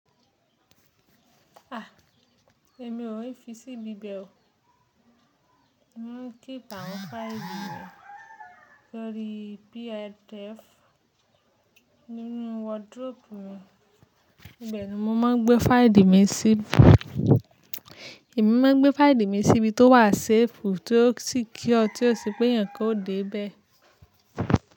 A! Èmi ò ní fi síbi bẹ́ o. Mo ń kíp àwọn fáìlì mi lórí PDF nínú wardrobe mi. Bẹ́ẹ̀ ni, mo máa ń gbé fáìlì mi síbi tó wà safe tí ó sì kíọ̀, tí ó ṣe pé yẹn kò dé bẹ́ẹ̀